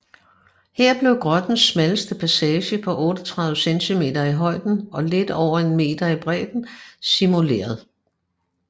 Her blev grottens smalleste passage på 38 cm i højden og lidt over en meter i bredden simuleret